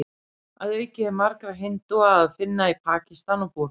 Að auki er marga hindúa að finna í Pakistan og Búrma.